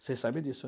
Vocês sabem disso